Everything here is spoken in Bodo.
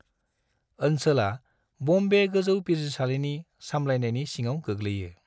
ओनसोला बम्बे गोजौ बिजिरसालिनि सामलायनायनि सिङाव गोग्लैयो।